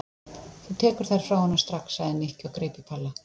Þú tekur þær frá honum strax sagði Nikki og greip í Palla.